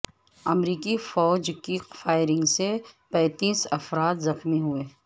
امریکی فوج کی فائرنگ سے پنتیس افراد زخمی ہوئے